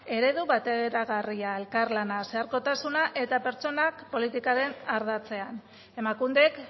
eredu bateragarria elkar lana zeharkotasuna eta pertsonak politikaren ardatzean emakundek